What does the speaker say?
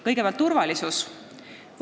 Kõigepealt, turvalisus.